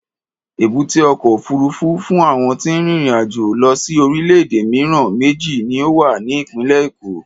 Èbúté ọkọ̀ òfuurufú fún àwọn tí ń rin ìrìn-àjò lọ sí orílẹ̀-èdè mìíràn méjì ni ó wà ní ìpínlẹ̀ Èkó.